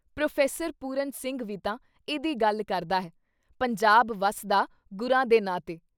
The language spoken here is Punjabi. ਪ੍ਰੋ: ਪੁਰਨ ਸਿੰਘ ਵੀ ਤਾਂ ਇਹਦੀ ਗੱਲ ਕਰਦਾ ਹੈ - ਪੰਜਾਬ ਵਸਦਾ ਗੁਰਾਂ ਦੇ ਨਾਂ ਤੇ।